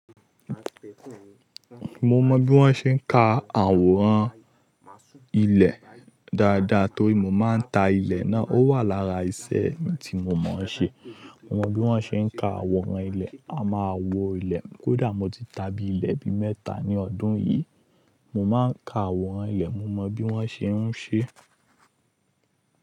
Mo mọ bí wọ́n ṣe ń ka àwòrán ilẹ̀ dáadáa torí mo máa ń ta ilẹ̀ náà. Ó wà lára ìṣe tí mo máa ń ṣe. Mo mọ bí wọ́n ṣe ń ka àwòrán ilẹ̀. A máa wo ilẹ̀. Kódà mo ti ta bí i ilẹ̀ bi mẹ́ta ní ọdún yìí. Mo máa ń ka àwòrán ilẹ̀, mo mọ bí wọ́n ṣe ń ṣe.